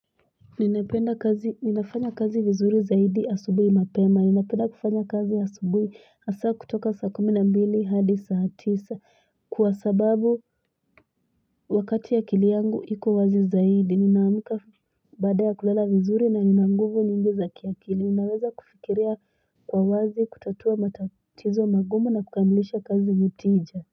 Ninafanya kazi vizuri zaidi asubui mapema ninapenda kufanya kazi asubui asa kutoka saa kumi na mbili hadi saa tisa kwasababu wakati akiliangu iko wazi zaidi ninaamka bada ya kulala vizuri na ninanguvu nyingi za kiakili naweza kufikiria kwa wazi kutatua matatizo magumu na kukamilisha kazi nitija.